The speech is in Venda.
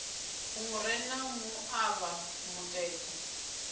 hu re na muṱavha mutete